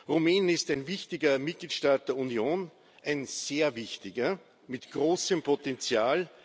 Rumänien ist ein wichtiger Mitgliedstaat der Union ein sehr wichtiger mit großem Potenzial.